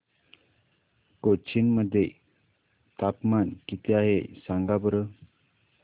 कोचीन मध्ये तापमान किती आहे सांगा बरं